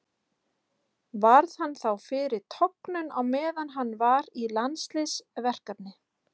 Varð hann þá fyrir tognun á meðan hann var í landsliðsverkefni.